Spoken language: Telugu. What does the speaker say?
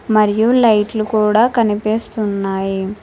మరియు లైట్లు కూడా కనిపిస్తున్నాయి.